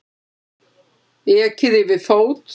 Ekið yfir fót